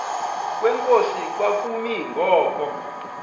kwenkosi kwakumi ngoku